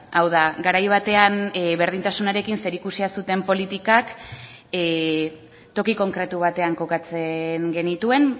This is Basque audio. hau da garai batean berdintasunarekin zerikusia zuten politikak toki konkretu batean kokatzen genituen